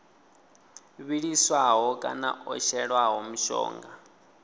vhiliswaho kana o shelwaho mushonga